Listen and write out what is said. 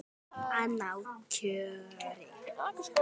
Að ná kjöri.